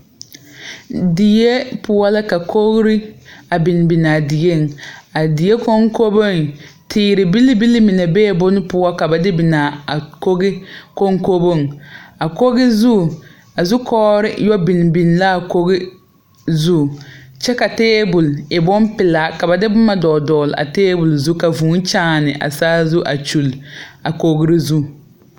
Die poɔ la ka kogre a biŋ binaa dieŋ a die koŋkoboŋ teere bilbili bilbile mine bee bon poɔ ka ba de binaa a koge koŋkoboŋ a koge zu a zukɔgre yɔ biŋ biŋ laa koge zu kyɛ ka tabol e bonpelaa ka ba de boma dɔgle dɔgle a tabol zu ka vūū kyaane a saazu a kyule a kogri zu.